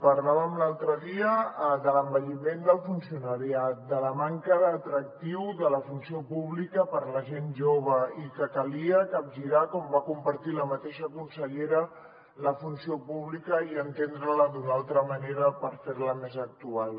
parlàvem l’altre dia de l’envelliment del funcionariat de la manca d’atractiu de la funció pública per la gent jove i que calia capgirar com va compartir la mateixa consellera la funció pública i entendre la d’una altra manera per fer la més actual